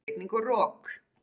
Rigning og rok!